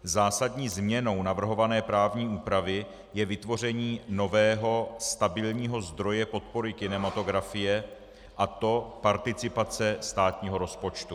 Zásadní změnou navrhované právní úpravy je vytvoření nového stabilního zdroje podpory kinematografie, a to participace státního rozpočtu.